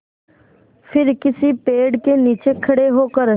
फिर किसी पेड़ के नीचे खड़े होकर